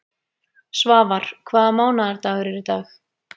Svafar, hvaða mánaðardagur er í dag?